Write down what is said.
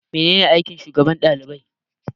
Mene ne aikin shugaban ɗalibai?